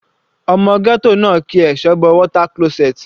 Ọmọ ghetto náà ki ẹsẹ̀ bọ water closet.